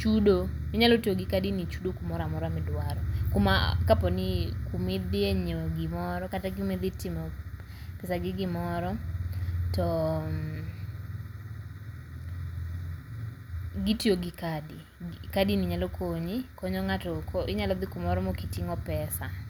chudo. Inyalo tiyo gi kadini e chudo kumoro amora midwaro. kuma kaponii kumi dhiye nyiewo gimoro kata kumidhi timo pesa gi gimoro to gitiyo gi kadi. Kadini nyalo konyi, konyo ng'ato inyalo dhi kumoro mokiting'o pesa